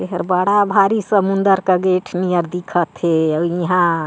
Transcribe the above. एहर बड़ा भारी समुन्दर का गेट नियर दिखत हे अउ इहा --